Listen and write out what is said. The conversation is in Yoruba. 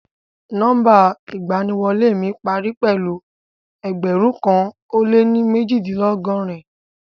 Nọmba iganiwole mi pari pẹlu ẹgbẹrun kan o le mejidinlọgọrin